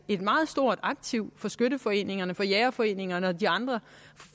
meget stort aktiv for skytteforeningerne jægerforeningerne og de andre